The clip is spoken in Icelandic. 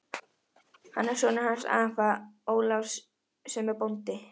Hann er sonur hans afa Ólafs sem er bóndi.